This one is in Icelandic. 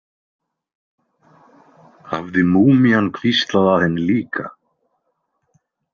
Hafði múmían hvíslað að henni líka?